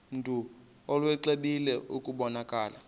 mntu exwebile kubonakala